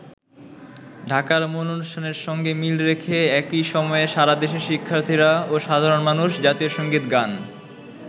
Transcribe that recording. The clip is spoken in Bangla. ঢাকার মূল অনুষ্ঠানের সঙ্গে মিল রেখে একই সময়ে সারা দেশের শিক্ষার্থীরা ও সাধারণ মানুষ জাতীয় সংগীত গান।